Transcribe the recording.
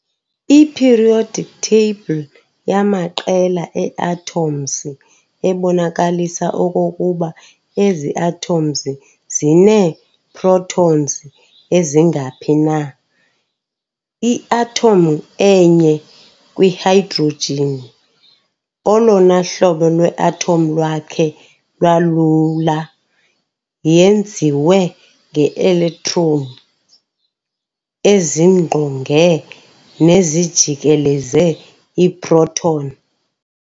I-periodic table yamaqela ee-atoms ebonakalisa okokuba ezi atoms zinee-protons ezingaphi na. I-atom enye kwi-hydrogen, olona hlobo lwe-atom lwakhe lwalula, yenziwe nge-electron ezingqonge nezijikeleze i-proton.